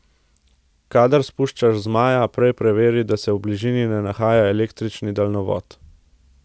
Kadar spuščaš zmaja, prej preveri, da se v bližini ne nahaja električni daljnovod.